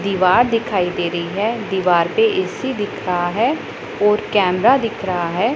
दीवार दिखाई दे रही है दीवार पे ए_सी दिख रहा है और कैमरा दिख रहा है।